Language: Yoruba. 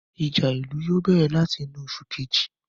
Ìjà ìlú yóò bẹ̀rẹ̀ láti inú oṣù Kejì